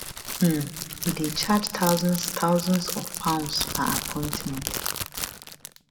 um e dey charge thousands thousands of pounds per appointment